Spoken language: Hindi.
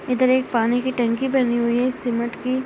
इधर एक पानी की टंकी बनी हुई है सीमेंट की।